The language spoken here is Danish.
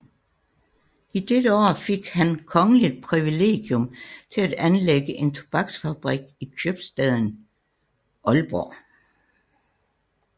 I dette år fik han kongeligt privilegium til at anlægge en tobaksfabrik i købstaden Aalborg